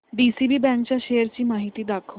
DCB bank च्या shares ची माहिती दाखव